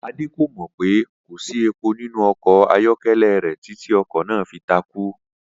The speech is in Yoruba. Adé kò mò̩ pé kò sí epo nínú o̩kò̩ ayó̩ké̩lé̩ rè̩ títí o̩kò̩ náà fi takú